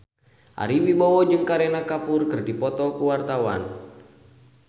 Ari Wibowo jeung Kareena Kapoor keur dipoto ku wartawan